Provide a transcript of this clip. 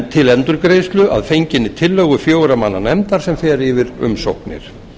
til endurgreiðslu að fenginni tillögu fjögurra manna nefndar sem fer yfir umsóknir